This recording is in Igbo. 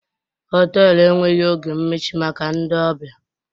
họtelu enweghị oge mmechi maka ndị ọbịa